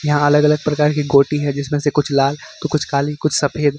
यहां अलग अलग प्रकार की गोटी है जिसमें से कुछ लाल तो कुछ काली कुछ सफेद --